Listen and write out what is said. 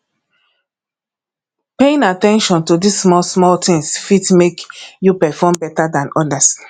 paying at ten tion to di small small things fit make you perform better than odas